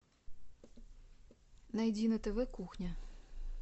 найди на тв кухня